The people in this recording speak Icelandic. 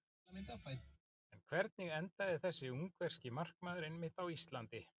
En hvernig endaði þessi ungverski markmaður einmitt á Íslandi?